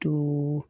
To